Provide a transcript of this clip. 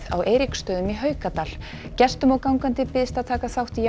á Eiríksstöðum í Haukadal gestum og gangandi býðst að taka þátt í